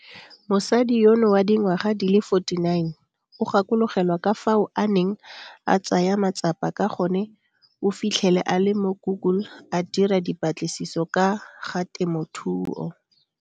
Mosadi yono wa dingwaga di le 49 o gakologelwa ka fao a neng a tsaya matsapa ka gone o fitlhele a le mo Google a dira dipatlisiso ka ga temothuo.